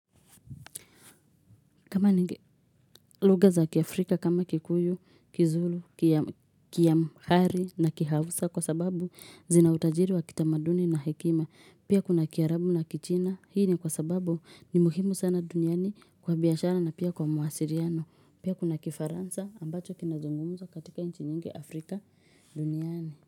Kama lugha za kiaAfrika kama kikuyu, kizulu, kiamhari na kihavusa kwa sababu zina utajiri wa kitamaduni na hekima. Pia kuna kiarabu na kichina. Hii ni kwa sababu ni muhimu sana duniani kwa biashara na pia kwa mawasiliano. Pia kuna kifaransa ambacho kinazungumzwa katika inchi nyingi Afrika duniani.